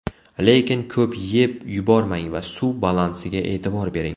Lekin ko‘p yeb yubormang va suv balansiga e’tibor bering.